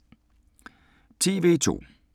TV 2